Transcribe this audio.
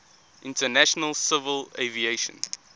international civil aviation